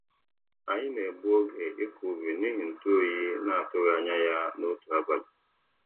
Anyị na-egbu oge ịkọ ubi n'ihi ntu oyi na-atụghị anya ya n'otu abalị.